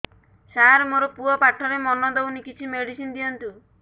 ସାର ମୋର ପୁଅ ପାଠରେ ମନ ଦଉନି କିଛି ମେଡିସିନ ଦିଅନ୍ତୁ